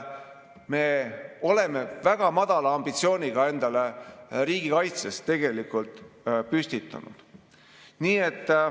Me oleme tegelikult väga madala ambitsiooni endale riigikaitses püstitanud.